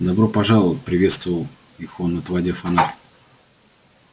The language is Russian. добро пожаловать приветствовал их он отводя фонарь